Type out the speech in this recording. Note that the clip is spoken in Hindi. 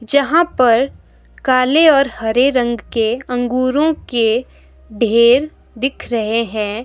जहां पर काले और हरे रंग के अंगूरों के ढेर दिख रहे हैं।